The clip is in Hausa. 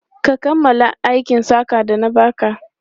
Ka kammala aikin saƙan da na ba ka?